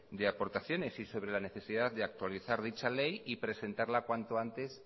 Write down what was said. de aportaciones y sobre la necesidad de actualizar dicha ley y presentarla cuando antes